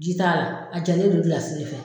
Ji taara , a jalen don de fɛ.